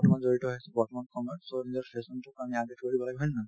বৰ্তমান জড়িত হৈ আছো বৰ্তমান সময়ত so নিজৰ fashion তোৰ কাৰণে লাগিব হয় নে নহয়